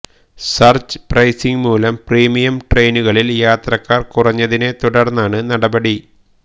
surge pricing മൂലം premium ട്രെയിനുകളിൽ യാത്രക്കാർ കുറഞ്ഞതിനെ തുടർന്നാണു നടപടി